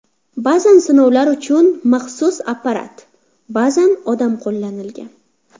Ba’zan sinovlar uchun maxsus apparat, ba’zan odam qo‘llanilgan.